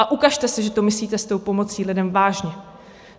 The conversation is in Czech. A ukažte se, že to myslíte s tou pomocí lidem vážně.